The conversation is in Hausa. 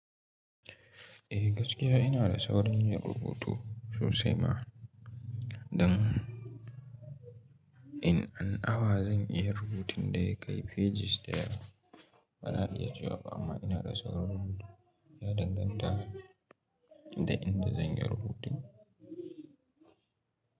Eh gaskiya ina da saurin yin rubutu sosai ma, dan in an awa zan iya rubutun da ya kai fejis dayawa. Bana iya cewa amma ina da saurin rubutu, ya danganta da inda zan yi rubutun.